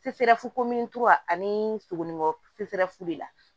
Sefɛrɛ fukomintogoya ani suguni kɔ fefu la